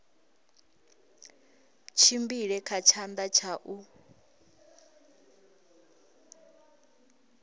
tshimbile kha tshanḓa tsha u